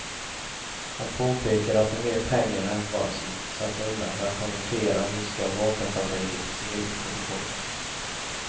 Han påpekade att det är mer pengar än vad som satts undan för att konvertera ryska vapenfabriker till civil produktion.